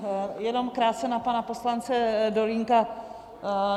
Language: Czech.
Jenom krátce na pana poslance Dolínka.